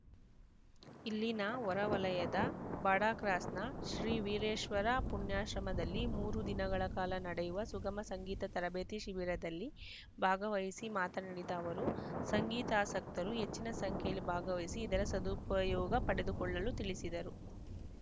ಇಲ್ಲಿನ ಹೊರವಲಯದ ಬಾಡಾಕ್ರಾಸ್‌ನ ಶ್ರೀ ವೀರೇಶ್ವರ ಪುಣ್ಯಾಶ್ರಮದಲ್ಲಿ ಮೂರು ದಿನಗಳ ಕಾಲ ನಡೆಯುವ ಸುಗಮ ಸಂಗೀತ ತರಬೇತಿ ಶಿಬಿರದಲ್ಲಿ ಭಾಗವಹಿಸಿ ಮಾತನಾಡಿದ ಅವರು ಸಂಗೀತಾಸಕ್ತರು ಹೆಚ್ಚಿನ ಸಂಖ್ಯೆಯಲ್ಲಿ ಭಾಗವಹಿಸಿ ಇದರ ಸದುಪಯೋಗ ಪಡೆದುಕೊಳ್ಳಲು ತಿಳಿಸಿದರು